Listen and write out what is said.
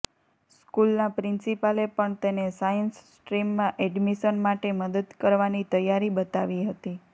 સ્કૂલના પ્રિન્સિપાલે પણ તેને સાયન્સ સ્ટ્રીમમાં એડમિશન માટે મદદ કરવાની તૈયારી બતાવી હતી